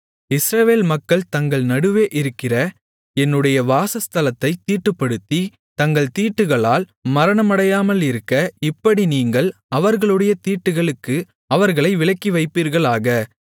இஸ்ரவேல் மக்கள் தங்கள் நடுவே இருக்கிற என்னுடைய வாசஸ்தலத்தைத் தீட்டுப்படுத்தி தங்கள் தீட்டுகளால் மரணமடையாமலிருக்க இப்படி நீங்கள் அவர்களுடைய தீட்டுகளுக்கு அவர்களை விலக்கிவைப்பீர்களாக